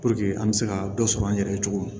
an bɛ se ka dɔ sɔrɔ an yɛrɛ ye cogo min